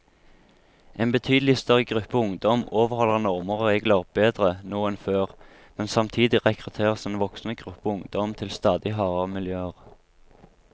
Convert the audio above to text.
En betydelig større gruppe ungdom overholder normer og regler nå enn før, men samtidig rekrutteres en voksende gruppe ungdom til stadig hardere miljøer.